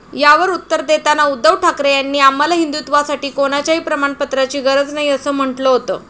यावर उत्तर देताना उद्धव ठाकरे यांनी, आम्हाला हिंदुत्वासाठी कोणाच्याही प्रमाणपत्राची गरज नाही, असं म्हटलं होतं.